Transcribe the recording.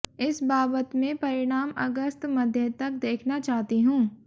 इस बाबत मैं परिणाम अगस्त मध्य तक देखना चाहती हूं